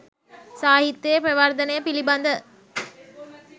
සාහිත්‍යයේ ප්‍රවර්ධනය පිළිබඳව